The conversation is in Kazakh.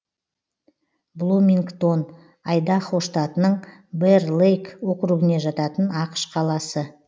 блумингтон айдахо штатының бэр лейк округіне жататын ақш қаласы